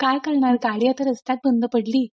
काय करणार गाडी आता रस्त्यात बंद पडली